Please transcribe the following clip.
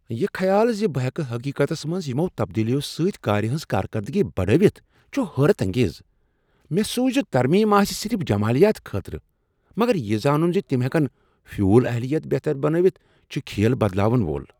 یہ خیال ز بہٕ ہیكہٕ حقیقتس منز یمو تبدیلیو سۭتۍ كارِ ہنز کارکردگی بڑٲوتھ چھٗ حیرت انگیز۔ مےٚ سوچ زِ ترمیم آسہٕ صرف جمالیات خٲطرٕ، مگر یہ زانُن ز تم ہیکن فیول اہلیت بہتر بنٲوتھ چُھ كھیل بدلاون وول ۔